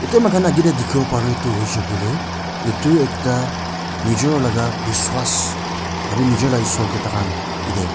aru mokhan akae tae dikhiwo para tu hoishey koilae edu ekta nijor laka biswas aro nijor laka isor kae takhan yete--